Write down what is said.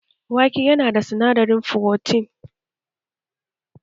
Wake yana da sinadarin frotin